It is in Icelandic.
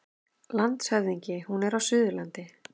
LANDSHÖFÐINGI: Hún er á Suðurlandi.